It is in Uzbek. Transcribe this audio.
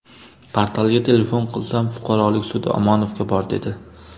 Portalga telefon qilsam, fuqarolik sudi Omonovga bor, dedi.